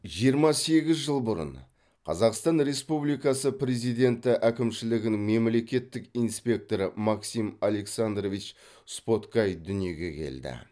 жиырма сегіз жыл бұрын қазақстан республикасы президенті әкімшілігінің мемлекеттік инспекторы максим александрович споткай дүниеге келді